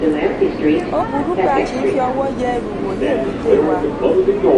ó burú pé a ṣi ń fi ọwọ́ yẹ ẹrù wò ní èbúté wa.